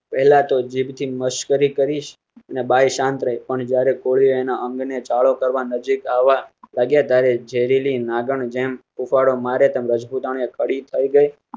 પહેલાં તો જીભ ની મશ્કરી કરી બાઈ શાંત રહી પણ જયારે કોળીઓ એના અંગને ચાળો કરવા નજીક આવવા લાગ્યા ત્યારે ઝેરી લી નાગણ જેમ હુફાડો મારે તમ રજપૂતાણી. થયી ગયી